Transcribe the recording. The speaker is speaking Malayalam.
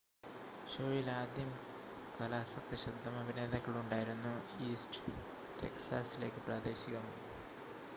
ഷോയിൽ ആദ്യം കലാസക്ത ശബ്ദം അഭിനേതാക്കൾ ഉണ്ടായിരുന്നു ഈസ്റ്റ് ടെക്സാസിലേക്ക് പ്രാദേശികം